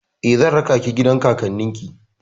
Eh, zan raka ki gidan kakannin ki.